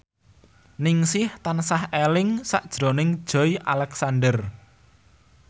Ningsih tansah eling sakjroning Joey Alexander